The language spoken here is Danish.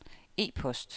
e-post